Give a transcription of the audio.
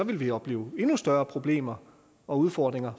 ville vi opleve endnu større problemer og udfordringer